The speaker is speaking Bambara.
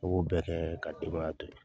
I b'o bɛɛ kɛ ka denbaya to yen.